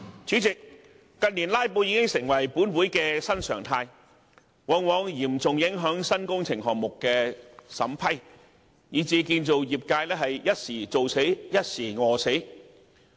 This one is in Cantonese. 主席，近年"拉布"已成立法會新常態，往往嚴重影響新工程項目審批，以至建造業"一時做死，一時餓死"。